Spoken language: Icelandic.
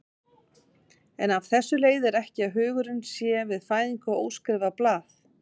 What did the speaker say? En af þessu leiðir ekki að hugurinn sé við fæðingu óskrifað blað.